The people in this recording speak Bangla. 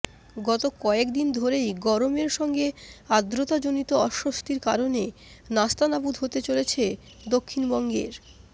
গত কয়েক দিন ধরেই গরমের সঙ্গে আর্দ্রতাজনিত অস্বস্তির কারণে নাস্তানাবুদ হতে হচ্ছে দক্ষিণবঙ্গের